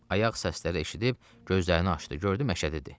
Ayaq səsləri eşidib gözlərini açdı, gördü məşədi idi.